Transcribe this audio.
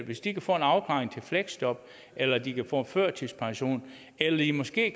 hvis de kan få en afklaring til fleksjob eller de kan få en førtidspension eller de måske